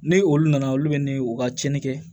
Ni olu nana olu bɛ ne u ka tiɲɛni kɛ